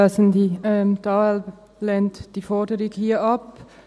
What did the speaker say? Die AL lehnt diese Forderung hier ab.